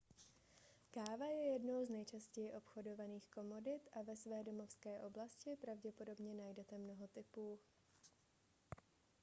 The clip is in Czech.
káva je jednou z nejčastěji obchodovaných komodit a ve své domovské oblasti pravděpodobně najdete mnoho typů